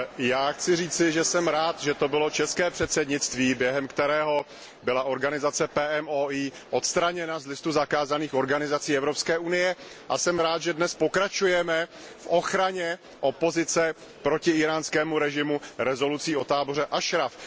Já chci říci, že jsem rád, že to bylo české předsednictví, během kterého byla organizace PMOI odstraněna z listu zakázaných organizací Evropské unie, a jsem rád, že dnes pokračujeme v ochraně opozice proti íránskému režimu rezolucí o táboře Ašraf.